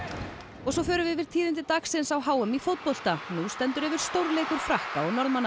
og svo förum við yfir tíðindi dagsins á h m í fótbolta nú stendur yfir stórleikur Frakka og Norðmanna